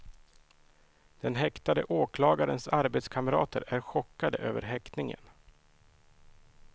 Den häktade åklagarens arbetskamrater är chockade över häktningen.